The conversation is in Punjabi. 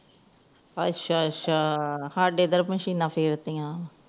ਅੱਛਾ-ਅੱਛਾ ਸਾਡੇ ਇਧਰ ਮਸ਼ੀਨਾਂ ਫੇਰ ਤੀ ਆਂ